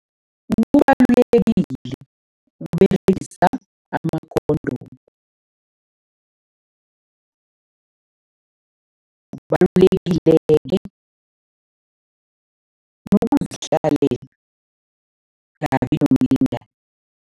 Kubalulekile ukUberegisa ama-condom. Kubalulekile-ke nokuzihlalela ungabi nomlingani.